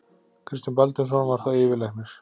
Kristján Baldvinsson var þá yfirlæknir.